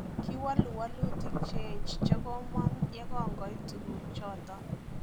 Kiwalu walutik cheech chekomang yekongoit tukuk choton